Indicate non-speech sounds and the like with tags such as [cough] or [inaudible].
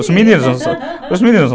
Os meninos, [laughs] os meninos [laughs]